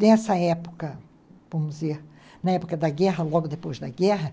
Nessa época, vamos dizer, na época da guerra, logo depois da guerra,